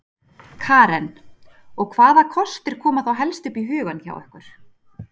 Karen: Og hvaða kostir koma þá helst upp í hugann hjá ykkur?